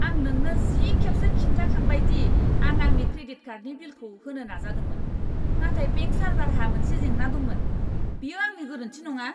आं नोंनो जि खेबसो खिन्थाखांबाय दि आं आंनि क्रेडिट कार्डनि बिलखौ होनो नाजादोंमोन नाथाय बेंक सार्भारहा मोनसे जेंना दंमोन। बेयो आंनि गोरोनथि नङा!